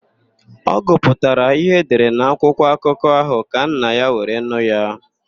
Ọ gụpụtara ihe edere na akwụkwọakụkọ ahụ ka nna ya were nụ ya.